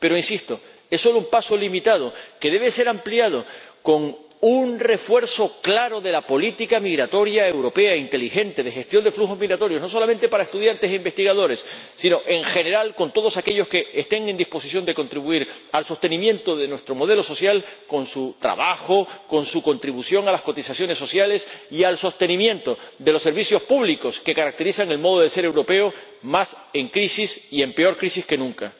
Pero, insisto, es solo un paso limitado que debe ser ampliado con un refuerzo claro de la política migratoria europea inteligente de gestión de flujos migratorios, no solamente para estudiantes e investigadores, sino en general con todos aquellos que estén en disposición de contribuir al sostenimiento de nuestro modelo social, con su trabajo, con su contribución a las cotizaciones sociales y al sostenimiento de los servicios públicos que caracterizan el modo de ser europeo, más en crisis y en peor crisis que nunca.